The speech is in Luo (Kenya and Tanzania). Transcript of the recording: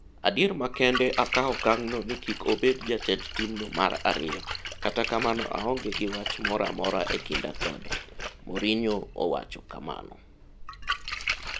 Adier makende akawo okang' no ni kik obed jatend timno mar ariyo, Kata kamano aonge gi wach moro amora e kinda kode'', Mourinho owacho kamano.